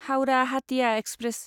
Howrah Hatia express